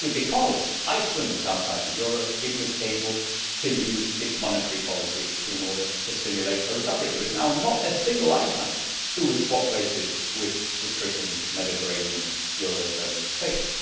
Precisely because Iceland was outside the euro, it was able to use its monetary policy in order to stimulate a recovery. There is now not a single Icelander who would swap places with the stricken Mediterranean eurozone states.